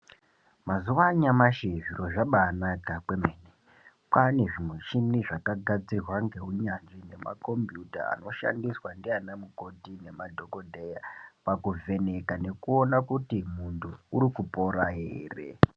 Mazuwa anyamashi zviro zvabanaka kwemene. Kwane zvimuchini zvakagadzirwa ngeunyanzvi nemakombiyuta anoshandiswa ndivana mukoti ngemadhokodheya pakuvheneka nekuona kuti muntu uri kupora here.